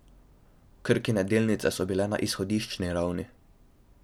Krkine delnice so bile na izhodiščni ravni.